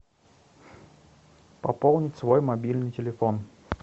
пополнить свой мобильный телефон